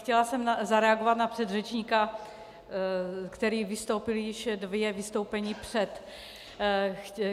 Chtěla jsem zareagovat na předřečníka, který vystoupil již dvě vystoupení před.